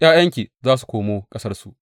’Ya’yanki za su komo ƙasarsu.